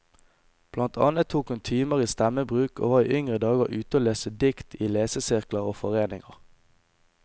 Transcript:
Blant annet tok hun timer i stemmebruk og var i yngre dager ute og leste dikt i lesesirkler og foreninger.